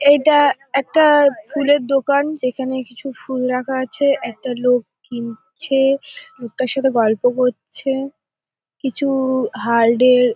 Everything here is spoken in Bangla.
এটা একটা ফুলের দোকান যেখানে কিছু ফুল রাখা আছে। একটা লোক কিনছে লোকটার সাথে গল্প করছে। কিছু-উ হালডের --